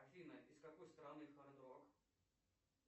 афина из какой страны хард рок